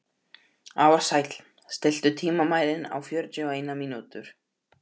Ársæll, stilltu tímamælinn á fjörutíu og eina mínútur.